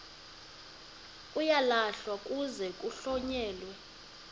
uyalahlwa kuze kuhlonyelwe